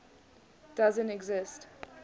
doesn t exist